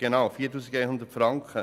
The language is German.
Genau 4100 Franken.